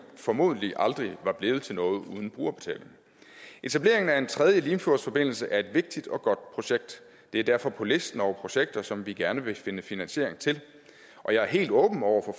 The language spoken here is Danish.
formodentlig aldrig var blevet til noget uden brugerbetaling etableringen af en tredje limfjordsforbindelse er et vigtigt og godt projekt det er derfor på listen over projekter som vi gerne vil finde finansiering til og jeg er helt åben over